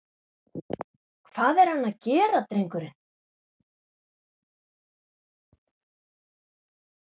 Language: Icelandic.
Hvað er hann að gera drengurinn?